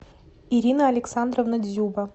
ирина александровна дзюба